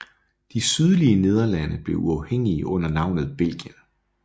De sydlige Nederlande blev uafhængige under navnet Belgien